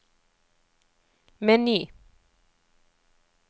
meny